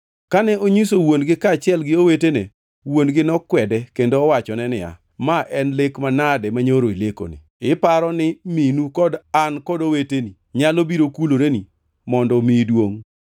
Kane onyiso wuon-gi kaachiel gi owetene, wuon-gi nokwede kendo owachone niya, “Ma en lek manade manyoro ilekoni? Iparo ni minu kod an kod oweteni nyalo biro kuloreni mondo omiyi duongʼ?”